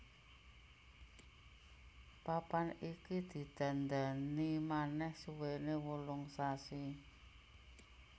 Papan iki didandani manèh suwéné wolung sasi